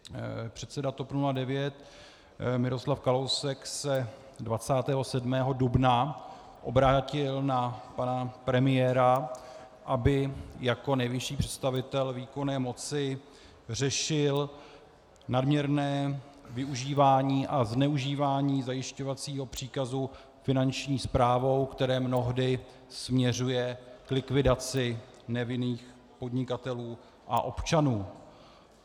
Předseda TOP 09 Miroslav Kalousek se 27. dubna obrátil na pana premiéra, aby jako nejvyšší představitel výkonné moci řešil nadměrné využívání a zneužívání zajišťovacího příkazu Finanční správou, které mnohdy směřuje k likvidaci nevinných podnikatelů a občanů.